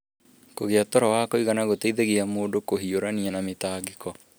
Kũgia toro wa kũigana gũteithie mũndũ kũhiũrania na mĩtangĩko.